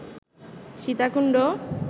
Sitakunda